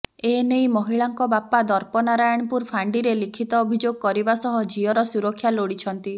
ଏ ନେଇ ମହିଳାଙ୍କ ବାପା ଦର୍ପନାରାୟଣପୁର ଫାଣ୍ଡିରେ ଲିଖିତ ଅଭିଯୋଗ କରିବା ସହ ଝିଅର ସୁରକ୍ଷା ଲୋଡ଼ିଛନ୍ତିି